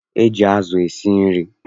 E ji azụ esi nri.